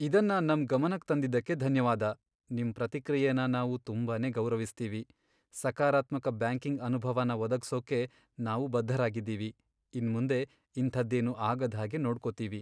ಇದನ್ನ ನಮ್ ಗಮನಕ್ ತಂದಿದ್ದಕ್ಕೆ ಧನ್ಯವಾದ. ನಿಮ್ ಪ್ರತಿಕ್ರಿಯೆನ ನಾವ್ ತುಂಬಾನೇ ಗೌರವಿಸ್ತೀವಿ. ಸಕಾರಾತ್ಮಕ ಬ್ಯಾಂಕಿಂಗ್ ಅನುಭವನ ಒದಗ್ಸೋದಕ್ಕೆ ನಾವು ಬದ್ಧರಾಗಿದೀವಿ. ಇನ್ಮುಂದೆ ಇಂಥದ್ದೇನೂ ಆಗದ್ಹಾಗೆ ನೋಡ್ಕೊತೀವಿ.